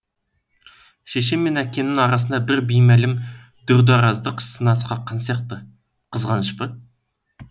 шешем мен әкемнің арасына бір беймәлім дүрдіараздық сына қаққан сияқты қызғаныш па